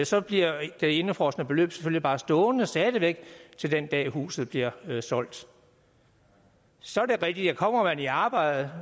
så bliver det indefrosne beløb selvfølgelig bare stående til den dag hvor huset bliver solgt så er det rigtigt at kommer man i arbejde